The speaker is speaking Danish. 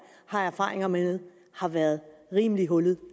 har erfaringer med har været rimelig hullet